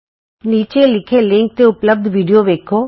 ਨੀਚੇ ਦਿੱਤੇ ਲਿੰਕ ਤੇ ਉਪਲਭਦ ਵੀਡੀਓ ਵੇਖੋ